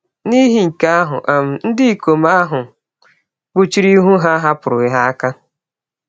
N’ihi nke ahụ um, ndị ikom ahụ kpuchiri ihu ha, hapụrụ ha aka.